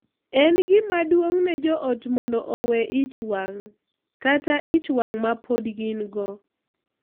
En gima duong’ ne jo ot mondo owe ich wang’ kata ich wang’ ma pod gin-go.